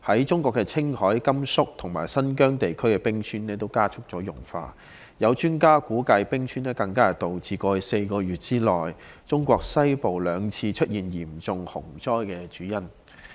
中國青海、甘肅和新疆地區的冰川也加速融化，有專家估計冰川融化是導致過去4個月內，中國西部兩次出現嚴重洪災的主因。